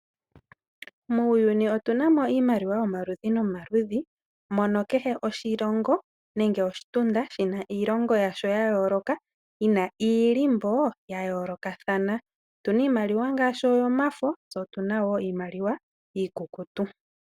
Muuyuni otuna mo iimaliwa yomaludhi nomaludhi mono kehe oshilongo nenge oshitunda shina iilongo yasho ya yooloka yina iilimbo ya yoolokathana. Otuna iimaliwa ngaashi oyomafo tse otuna wo iimaliwa iikukutu.